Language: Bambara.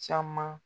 Caman